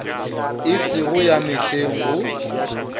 e sego ya mehleng go